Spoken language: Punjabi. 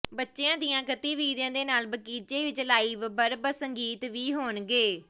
ਬੱਚਿਆਂ ਦੀਆਂ ਗਤੀਵਿਧੀਆਂ ਦੇ ਨਾਲ ਬਗੀਚੇ ਵਿਚ ਲਾਈਵ ਬਰਬਤ ਸੰਗੀਤ ਵੀ ਹੋਣਗੇ